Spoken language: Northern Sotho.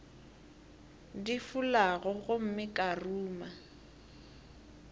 di fulago gomme ka ruma